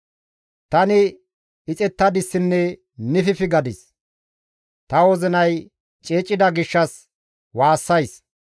Tani ixettadissinne nififi gadis; ta wozinay ceecida gishshas waassays.